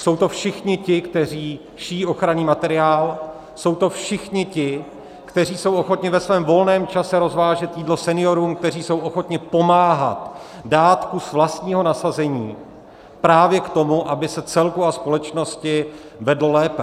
Jsou to všichni ti, kteří šijí ochranný materiál, jsou to všichni ti, kteří jsou ochotni ve svém volném čase rozvážet jídlo seniorům, kteří jsou ochotni pomáhat, dát kus vlastního nasazení právě k tomu, aby se celku a společnosti vedlo lépe.